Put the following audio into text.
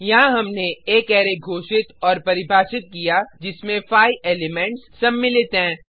यहाँ हमने एक अरै घोषित और परिभाषित किया जिसमें 5 एलिमेंट्स सम्मिलित हैं